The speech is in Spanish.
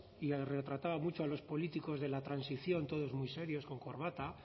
y retrataba mucho a los políticos de la transición todos muy serios con corbata